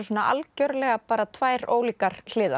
algjörlega tvær ólíkar hliðar